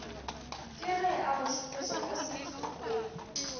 keg e abašupetša ka sethokgweng